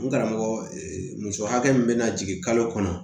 N karamɔgɔ muso hakɛ min be na jigin kalo kɔnɔ